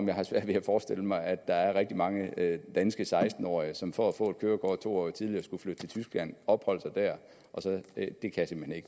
jeg har svært ved at forestille mig at der er rigtig mange danske seksten årige som for at få et kørekort to år tidligere skulle flytte til tyskland og opholde sig der det kan